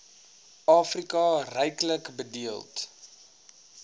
afrika ryklik bedeeld